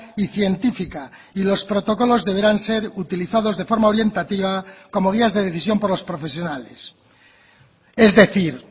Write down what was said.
y científica y los protocolos deberán ser utilizados de forma orientativa como guías de decisión por los profesionales es decir